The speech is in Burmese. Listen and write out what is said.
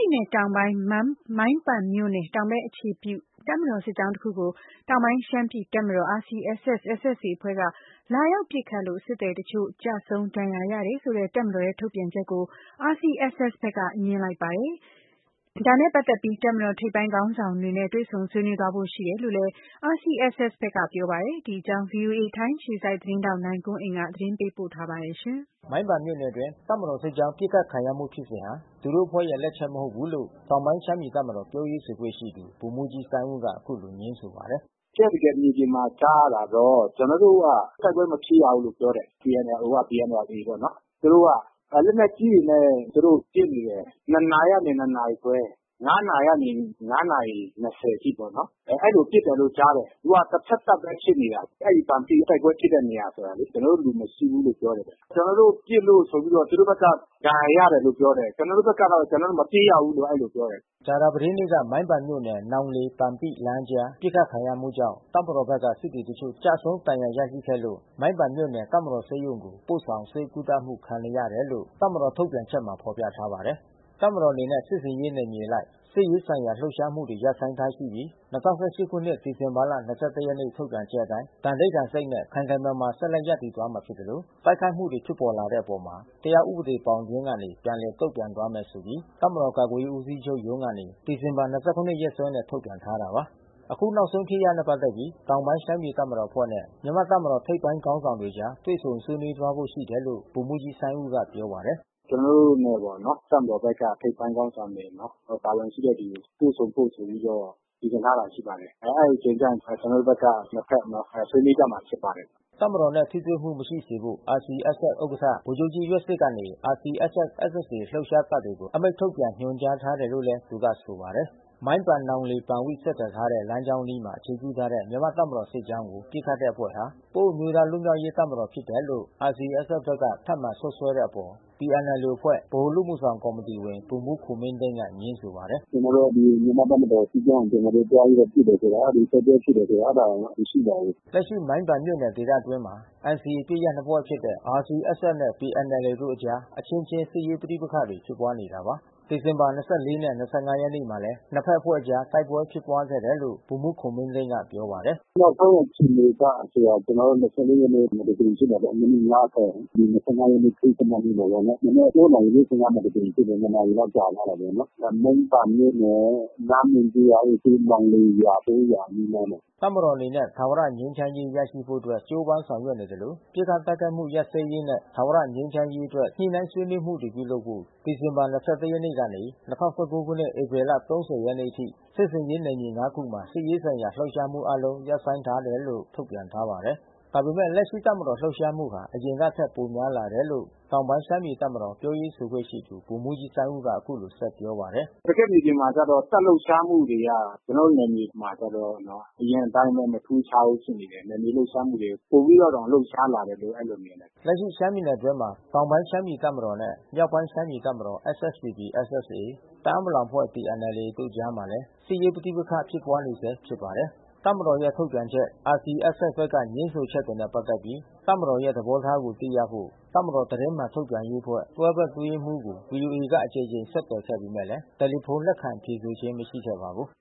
ည်နယ်တောင်ပိုင်း၊ မိုင်းပန်မြို့နယ်တောင်ဘက်အခြေပြု တပ်မတော်စစ်ကြောင်းတခုကို တောင်ပိုင်း ရှမ်းပြည် တပ်မတော် RCSS/SSA အဖွဲ့က လာရောက်ပစ်ခတ်လို့ စစ်သည်အချို့ ကျဆုံး ဒဏ်ရာရတယ်ဆိုတဲ့ တပ်မတော်ရဲ့ထုတ်ပြန်ချက်ကို RCSS ဘက်က ငြင်းလိုက်ပါတယ်။ တပ်မတော်စစ်ကြောင်းကို ပစ်ခတ်တာ သူတို့အဖွဲ့မဟုတ်ဘူးဆိုပြီး ငြင်းတာပါ။ ဒါနဲ့ပတ်သက်ပြီး တပ်မတော် ထိပ်ပိုင်းခေါင်းဆောင်တွေနဲ့ တွေ့ဆုံ ဆွေးနွေး သွားဖို့ရှိတယ်လို့လည်း RCSS ဘက်က ပြောပါတယ်။ ဒီအကြောင်း ဗွီအိုအေ ထိုင်းအခြေစိုက် သတင်းထောက် နိုင်ကွန်းအိမ်က သတင်းပေးပို့ထားပါတယ်။ မိုင်းပန်မြို့နယ်အတွင်း တပ်မတော်စစ်ကြောင်း ပစ်ခတ်ခံရမှုဖြစ်စဉ်ဟာ သူတို့အဖွဲ့ရဲ့လက်ချက် မဟုတ်ဘူးလို့ တောင်ပိုင်းရှမ်းပြည်တပ်မတော် ပြောရေးဆိုခွင့်ရှိသူ ဗိုလ်မှူးကြီးစိုင်းဦး က အခုလိုငြင်းဆိုပါတယ်။ “တကယ့်တကယ်မြေပြင်မှာကြားရတာတော့ ကျနော်တို့က တိုက်ပွဲမဖြစ်ရဘူးလို့ပြောတယ်။ PNLO က။ PNLA ပေါ့နော်။ သူတို့ကလက်နက်ကြီးတွေနဲ့ ပစ်နေတယ်။ နှစ်နာရီကနေ နှစ်နာရီခွဲ။ နာရီ ကနေ နာရီ အထိပေါ့နော်၊ အဲဒီလိုပစ်တယ်လို့ကြားတယ်။ အခုကတဖက်သတ် ပဲဖြစ်နေ တာ။ အဲဒီပန်ပိတိုက်ပွဲဖြစ်တဲ့နေရာ ဆိုတာလေ။ ကျနော်တို့လူမရှိဘူးလို့ပြောတယ်။ ကျနော်တို့ ပစ်လို့ ဆိုပြီးတော့ သူတို့ဘက်က ဒဏ်ရာရတယ် လို့ ပြောတယ်။ ကျနော်တို့ဘက်ကတော့ ကျနော်တို့မပစ်ရဘူးလို့ အဲဒီလိုပြောတယ်။” ကြာသာပတေးနေ့က မိုင်းပန်မြို့နယ် နောင်လေ-ပန်ပိလမ်းအကြား ပစ်ခတ်ခံရမှုကြောင့် တပ်မတော်ဘက်က စစ်သည်အချို့ကျဆုံး၊ ဒဏ်ရာရရှိခဲ့လို့ မိုင်းပန်မြို့နယ်တပ်မတော်ဆေးရုံကို ပို့ဆောင်ဆေးကုသမှု ခံနေရတယ် လို့ တပ်မတော်ထုတ်ပြန်ချက်မှာ ဖော်ပြထားပါတယ်။ တပ်မတော်အနေနဲ့ စစ်ဆင်ရေးနယ်မြေအလိုက် စစ်ရေးဆိုင်ရာလှုပ်ရှားမှုတွေ ရပ်ဆိုင်းထားရှိပြီး ၂၀၁၈ ခုနှစ် ဒီဇင်ဘာ ၂၁ ရက် ထုတ်ပြန်ချက်အတိုင်း သန္နိဌာန်စိတ်နဲ့ ခိုင်ခိုင်မာမာ ဆက်လက် ရပ်တည်သွားမှာဖြစ်သလို တိုက်ခိုက်မှုတွေ ဖြစ်လာတဲ့ အပေါ် တရားဥပဒေဘောင်အတွင်းကနေ ပြန်လည်တုံ့ပြန်သွားမယ်ဆိုပြီး တပ်မတော် ကာကွယ်ရေးဦးစီးချုပ်ရုံးကနေ ဒီဇင်ဘာ ၂၇ ရက်စွဲနဲ့ ထုတ်ပြန်ထားတာပါ။ အခုနောက်ဆုံးဖြစ်ရပ်နဲ့ပတ်သက်ပြီး တောင်ပိုင်းရှမ်းပြည်တပ်မတော်အဖွဲ့နဲ့ မြန်မာ့တပ်မတော် ထိပ်ပိုင်း ခေါင်းဆောင်တွေအကြား တွေ့ဆုံဆွေးနွေးသွားဖို့ရှိတယ်လို့ ဗိုလ်မှူးကြီးစိုင်းဦးက ပြောပါတယ်။ “ကျနော်တို့နဲ့ပေါ့နော်။ တပ်မတော်ထိပ်ပိုင်းခေါင်းဆောင်တွေ ပါဝင်ပြီးတော့ တွေ့ဆုံဖို့ဆိုပြီးတော့ စီစဉ်ထားတာ ရှိပါတယ်။ အဲဒီအချိန်ကျရင် ကျနော်တို့ဘက်က နှစ်ဘက်နော် ဆွေးနွေးကြ မှာ ဖြစ်ပါတယ်။” တပ်မတော်နဲ့ ထိတွေ့မှုမရှိစေဖို့ RCSS ဥက္ကဋ္ဌ ဗိုလ်ချုပ်ကြီး ယွက်ဆစ်ကနေ RCSS/SSA လှုပ်ရှား တပ်တွေကို အမိန့် ထုတ်ပြန်ညွှန်ကြားထားတယ်လို့လည်း သူကဆိုပါတယ်။ မိုင်းပန်-နောင်လေ-ပန်ပိ ဆက်သွယ်ထားသော လမ်းကြောင်းအနီးမှာအခြေပြုထားတဲ့တပ်မတော် စစ်ကြောင်း ကို ပစ်ခတ်တဲ့အဖွဲ့ဟာ ပအို့ဝ်အမျိုးသားလွတ်မြောက်ရေးတပ်မတော်ဖြစ်တယ်လို့ RCSS ဘက်က ထပ်မံစွပ်စွဲတဲ့ အပေါ် PNLO အဖွဲ့ ဗဟိုအလုပ်အမှုဆောင်ကော်မီတီဝင် ဗိုလ်မှူးခွန်မင်းသိန်းက ငြင်းဆိုပါတယ်။ “ကျနော်တို့ကမြန်မာ့တပ်မတော်စစ်ကြောင်းကို ကျနော်တို့သွားပြီး ပစ်တယ်ဆိုတာ အဲဒီတိုက်ပွဲ ဖြစ်တယ်ဆိုတာ အဲတာမရှိပါဘူး။” လက်ရှိမိုင်းပန်မြို့နယ်ဒေသအတွင်းမှာ NCA အပစ်ရပ်အဖွဲ့နှစ်ဖွဲ့ဖြစ်တဲ့ RCSS နဲ့ PNLO တို့အကြား အချင်းချင်း စစ်ရေးပဋိပက္ခ တွေ ဖြစ်ပွါးနေတာပါ။ ဒီဇင်ဘာ ၂၄ နဲ့ ၂၅ ရက်နေ့တွေမှာလဲ နှစ်ဖက်အဖွဲ့အကြားတိုက်ပွဲဖြစ်ပွါးခဲ့တယ်လို့ ဗိုလ်မှူး ခွန်မင်းသိန်းက ပြောပါတယ်။ “နောက်ဆုံးအခြေအနေကဆိုတာ ကျနော်တို့ ၂၄ ရက်နေ့မှာတကြိမ်ဖြစ်တာပေါ့နော်။ မိနစ် ၅၀။ ဒီ ၂၅ ရက်နေ့ ခရစ္စမတ်နေ့ မှာပေါ့နော်။ မနက် ၉ နာရီ ၄၅ မှာတကြိမ်ဖြစ်တယ်။ ၂ နာရီလောက်ကြာ သွားတာပေါ့နော်။ မိုင်းပန်မြို့နယ်၊ နားမွန်ကျေးရွာအုပ်စု နောင်လိန်ရွာ ပအိုဝ့်ရွာအနီးနားမှာ။” တပ်မတော်အနေနဲ့ထာဝရငြိမ်းချမ်းရေးရရှိဖို့အတွက် ကြိုးပမ်းဆောင်ရွက်နေသလို ပစ်ခတ်တိုက်ခိုက် မှု ရပ်စဲ ရေးနဲ့ ထာဝရငြိမ်းချမ်းရေးအတွက် ညှိနှိုင်းဆွေးနွေးမှုတွေ ပြုလုပ်ဖို့ဒီဇင်ဘာ ၂၁ ရက်ကနေ ၂၀၁၉ ခုနှစ်၊ ဧပြီ ၃၀ ရက် အထိ စစ်ဆင်ရေးနယ်မြေ ခုမှာစစ်ရေးဆိုင်ရာ လှုပ်ရှားမှုအားလုံး ရပ်ဆိုင်းထားတယ်လို့ ထုတ်ပြန်ထားပါတယ်။ ဒါပေမယ့် လက်ရှိမှာ တပ်မတော်လှုပ်ရှားမှု အရင်ကထက်ပိုများလာတယ်လို့ တောင်ပိုင်းရှမ်းပြည် တပ်မတော် ပြောရေးဆိုခွင့်ရှိသူ ဗိုလ်မှူးကြီးစိုင်းဦး က အခုလိုဆက်ပြောပါတယ်။ “တကယ့်မြေပြင်မှာက တပ်လှုပ်ရှားမှုတွေက ကျနော်တို့နယ်မြေမှာကျတော့နော်။ အရင်အတိုင်းပဲ မထူးခြားဘူး ဖြစ်နေတယ်။ နယ်မြေလှုပ်ရှားမှုတွေ ပိုပြီးတောင် လှုပ်ရှားတယ်လို့ အဲဒီလိုမြင်တယ်။” လက်ရှိရှမ်းပြည်နယ်အတွင်းမှာ တောင်ပိုင်းရှမ်းပြည်တပ်မတော်နဲ့ မြောက်ပိုင်းရှမ်းပြည်တပ်မတော် SSPP/SSA တအာင်းပလောင်အဖွဲ့TNLA တို့ကြားမှာလည်း စစ်ရေးပဋိပက္ခဖြစ်ပွါးနေဆဲရှိပါတယ်။ တပ်မတော်ရဲ့ ထုတ်ပြန်ချက်၊ RCSS ဘက်က ငြင်းဆိုချက်တွေနဲ့ပတ်သက်ပြီး တပ်မတော်ရဲ့ သဘောထားကို သိရဖို့ တပ်မတော် သတင်းမှန်ထုတ်ပြန်ရေးအဖွဲ့ တွဲဘက်အတွင်းရေးမှူးကို ဗွီအိုအေက အကြိမ်ကြိမ် ဆက်သွယ်ခဲ့ပေမယ့်လည်း တယ်လီဖုန်း လက်ခံဖြေဆိုခြင်း မရှိခဲ့ပါဘူး